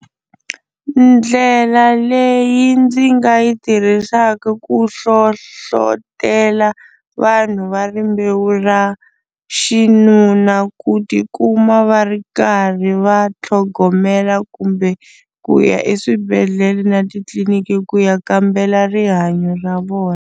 Ndlela leyi ndzi nga yi tirhisaka ku hlohlotelo vanhu va rimbewu ra xinuna ku tikuma va ri karhi va tlhogomela kumbe ku ya eswibedhlele na titliliniki ku ya kambela rihanyo ra vona.